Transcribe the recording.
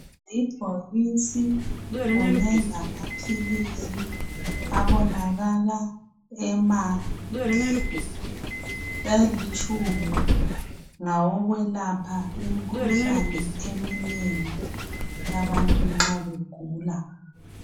Ibhokisi kunye lamaphilisi abonakala emahle, alitshumi ngawokwelapha imikhuhlane eminengi abantu nxa begula.